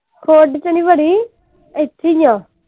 ਖੁੱਡ ਚ ਨਹੀਂ ਵੜੀ ਇਥੇ ਈ ਆ।